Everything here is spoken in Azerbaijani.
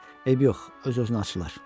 Eybi yox, öz-özünə açılar.